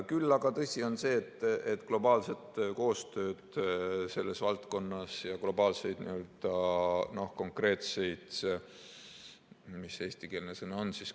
Küll aga tõsi on see, et globaalset koostööd selles valdkonnas ja globaalseid konkreetseid – mis see eestikeelne sõna on?